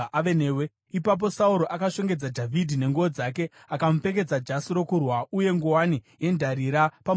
Ipapo Sauro akashongedza Dhavhidhi nenguo dzake. Akamupfekedza jasi rokurwa uye nguwani yendarira pamusoro wake.